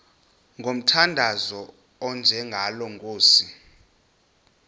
ngomthandazo onjengalo nkosi